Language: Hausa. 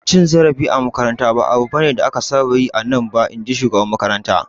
Cin zarafi a makaranta ba abu ne da aka saba yi a nan ba, in ji shugaban makarantar.